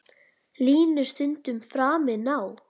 Línu stundum framinn á.